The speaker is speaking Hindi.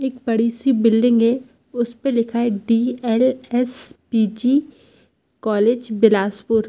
एक बड़ी सी बिल्डिंग है उसपे लिखा है डी_एल_एस_पि_जी कॉलेज बिलासपुर।